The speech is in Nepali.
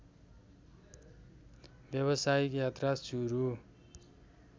व्यवसायिक यात्रा सुरु